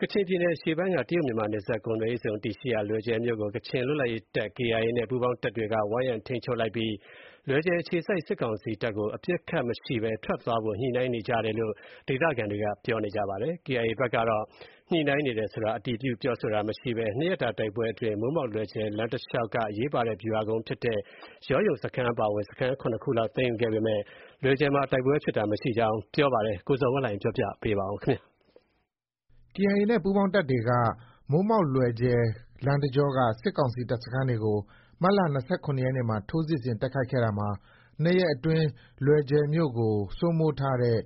ကချင်ပြည်နယ်အရှေ့ပိုင်းက တရုတ်-မြန်မာ နယ်စပ်ကုန်သွယ်ရေးဇုံတည်ရှိရာ လွယ်ဂျယ်မြို့ကို ကချင်လွတ်လပ်ရေးတပ် KIA နဲ့ ပူးပေါင်းတပ်တွေက ဝိုင်းရံ ထိန်းချုပ်လိုက်ပြီး လွယ်ဂျယ်အခြေစိုက် စစ်ကောင်စီတပ်ကို အပစ်အခတ်မရှိဘဲ ထွက်သွားဖို့အတွက် ညှိနှိုင်းနေကြောင်း ဒေသခံတွေက ပြောပါတယ်။ KIA ဘက်ကတော့ ညှိနှိုင်းနေတယ်ဆိုတာကို အတည်ပြုပြောဆိုတာမရှိဘဲ ၂ရက်တာ တိုက်ပွဲအတွင်း မိုးမောက်-လွယ်ဂျယ် လမ်းတလျောက်က အရေးပါတဲ့ ဗျူဟာကုန်းဖြစ်တဲ့ ယောယုံ စခန်းအပါအဝင် စခန်း ၇ခုလောက် သိမ်းယူခဲ့ပေမဲ့ လွယ်ဂျယ်မှာ တိုက်ပွဲဖြစ်တာ မရှိကြောင်းပြောပါတယ်။ ဒီအကြောင်း သတင်းပေးပို့ချက်ကို အခြေခံပြီး ကိုဇော်ဝင်းလှိုင်က တင်ပြပေးပါမယ်။ KIA နဲ့ ပူးပေါင်းတပ်တွေက မိုးမောက်-လွယ်ဂျယ် လမ်းတကြောက စစ်ကောင်စီ တပ်စခန်းတွေကို မတ်လ ၂၇ရက်နေ့မှာ ထိုးစစ်ဆင် တိုက်ခိုက်ခဲ့ရာမှာ ၂ရက်အတွင်း လွယ်ဂျယ်မြို့ကို စိုးမိုးထားတဲ့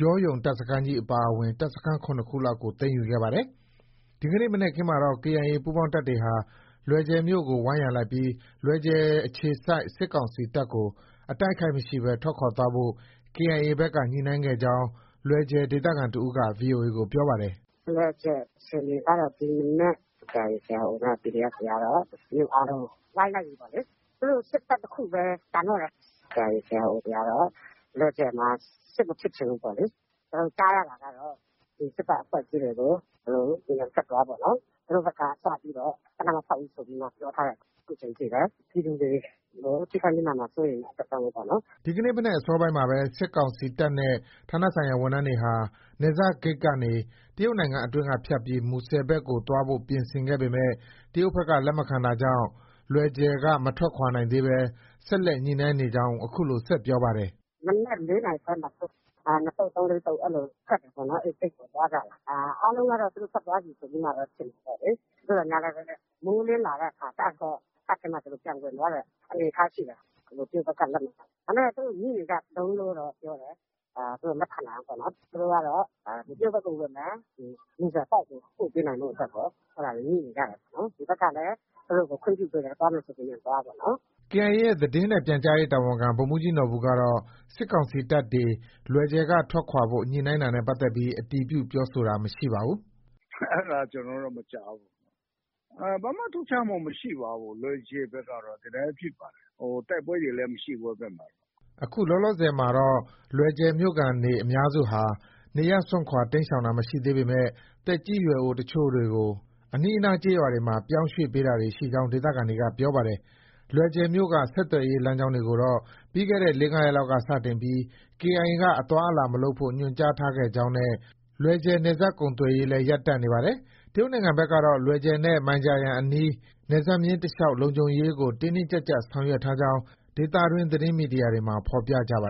ယောယုံ တပ်စခန်းကြီး အပါအဝင် တပ်စခန်း ၇ခုလောက်ကို သိမ်းယူခဲ့ပါတယ်။ ဒီကနေ့ မနက်ခင်းမှာတော့ KIA ပူးပေါင်းတပ်တွေဟာ လွယ်ဂျယ်မြို့ကို ဝိုင်းရံလိုက်ပြီး လွယ်ဂျယ်အခြေစိုက် စစ်ကောင်စီတပ်ကို အတိုက်အခိုက်မရှိဘဲ ထွက်ခွာသွားဖို့ KIA ဘက်က ညှိနှိုင်းခဲ့ကြောင်း လွယ်ဂျယ်ဒေသခံတဦးက VOA ကို ပြောပါတယ်။ “ လွယ်ဂျယ်အခြေအနေကတော့ ဒီမနက် KIA/KIO နဲ့ PDF တွေကတော့ မြို့အားလုံးကို ဝိုင်းလိုက်ပြီပေါ့လေ။ သူတို့ စစ်တပ်တခုပဲ ကျန်တော့တယ်။ KIA/ KIO တွေကတော့ လွယ်ဂျယ်မှာ စစ်မဖြစ်ချင်ဘူးပေါ့လေ။ ကျနော်တို့ ကြားရတာကတော့ စစ်တပ်အဖွဲ့တွေကို မြန်မြန်ထွက်သွားပေါ့နော်။ သူတို့ဖက်က စပြီးတော့ သေနတ်မဖောက်ဘူးဆို ပြောထားတာ အခုချိန်ထိပဲ။ ပြည်သူတွေကို ထိခိုက်နစ်နာမှာ စိုးရိမ်တဲ့အတွက်ကြောင့်ပေါ့နော်။” ဒီကနေ့ မနက်အစောပိုင်းမှာပဲ စစ်ကောင်စီတပ်နဲ့ ဌာနဆိုင်ရာဝန်ထမ်းတွေဟာ နယ်စပ်ဂိတ်ကနေ တရုတ်နိုင်ငံအတွင်းက ဖြတ်ပြီး မူဆယ်ဘက်ကို သွားဖို့ ပြင်ဆင်ခဲ့ပေမဲ့ တရုတ်ဘက်က လက်မခံတာကြောင့် လွယ်ဂျယ်က မထွက်ခွာနိုင်သေးဘဲ ဆက်လက် ညှိနှိုင်းနေကြောင်း အခုလို ဆက်ပြောပါတယ်။ “ မနက် ၄နာရီခွဲမှာ သူတို့ ထွက်တယ်ပေါ့။ ၂သုတ်၊ ၃-၄ သုတ် အဲလို ထွက်တယ်ပေါ့နော်။ အဲဒီဂိတ်ကို သွားကြတယ်။ အားလုံးကတော့ သူတို့ ထွက်သွားပြီ ဆိုပြီးမှပဲ ထင်တာပေါ့လေ။ သို့သော်ငြားလည်းပဲ မိုးလင်းလာတဲ့အခါကျတော့ တပ်ထဲမှာ ပြန်ဝင်သွားတဲ့အနေအထားရှိတယ်။ တရုတ်ဘက်ကလက်မခံလို့။ ဒါပေမဲ့ သူတို့ ညှိနေကြတုန်းလို့တော့ ပြောတယ်။ သူတို့ လက်ခံနိုင်အောင်။ သူတို့ကတော့ တရုတ်ဘက်ကို ဝင်မယ်။ မူဆယ်အပေါက်ကို ပို့ပေးနိုင်ဖို့အတွက် အဲဒါတွေ ညှိနေကြတယ်။ ဒီဘက်ကလည်း သူတို့ကို ခွင့်ပြုပေးတယ်။ သွားမယ်ဆို မြန်မြန်သွားပေါ့နော်။” KIA ရဲ့ သတင်းနဲ့ ပြန်ကြားရေးတာဝန်ခံ ဗိုလ်မှူးကြီးနော်ဘူကတော့ စစ်ကောင်စီတပ်တွေ လွယ်ဂျယ်က ထွက်ခွာဖို့ ညှိနှိုင်းတာနဲ့ပတ်သက်ပြီး အတည်ပြုပြောဆိုတာ မရှိပါဘူး။ “ အဲဒါ ကျနော်တော့ မကြားဘူး။ ဘာမှ ထူးခြားမှု မရှိပါဘူး လွယ်ဂျယ်ဘက်ကတော့ ဒီတိုင်းဖြစ်ပါတယ်။ တိုက်ပွဲတွေလည်း မရှိဘူး အဲဒီဘက်မှာ။” လောလောဆည်မှာတော့ လွယ်ဂျယ်မြို့ခံတွေအများစုဟာ နေရပ်စွန့်ခွာတိမ်းရှောင်တာ မရှိသေးပေမယ့် သက်ကြီးရွယ်အိုအချို့တွေကို အနီးအနား ကျေးရွာတွေမှာ ပြောင်းရွှေ့ပေးတာတွေရှိကြောင်း ဒေသခံတွေက ပြောပါတယ်။ လွယ်ဂျယ်မြို့က ဆက်သွယ်ရေးလမ်းကြောင်းတွေကိုတော့ ပြီးခဲ့တဲ့ ၄-၅ရက်က စတင်ပြီး KIA က အသွားအလာမလုပ်ဖို့ ညွှန်ကြားထားခဲ့တာကြောင့် လွယ်ဂျယ်နယ်စပ်ကုန်သွယ်ရေးလည်း ရပ်တန့်နေပါတယ်။ တရုတ်နိုင်ငံဘက်ကတော့ လွယ်ဂျယ်နဲ့ မိုင်ဂျာယန်အနီး နယ်စပ်မျဉ်းတလျောက် လုံခြုံရေးကို တင်းတင်းကျပ်ကျပ် ဆောင်ရွက်ထားကြောင်း ဒေသတွင်း သတင်းမီဒီယာတွေမှာ ဖော်ပြကြပါ